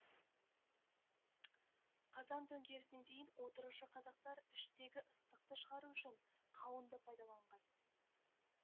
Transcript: қазан төңкерісіне дейін отырықшы қазақтар іштегі ыстықты шығару үшін қауынды пайдаланған